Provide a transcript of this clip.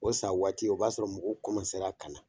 O san waati o b'a sɔrɔ muguw ka na